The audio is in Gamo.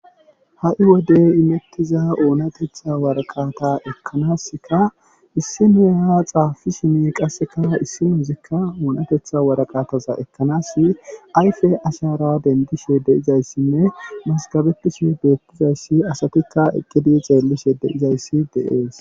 ha7i wode imettiza oonatetha waraqata ekkanaska issi noya xaafi shimi qasseka issinozikka oonatetha waraqataza ekkanas ayfe ashara dendishe de izayssinne masgabetiso beettizayssi asatikka eqqidi xeellishe deizayssi deees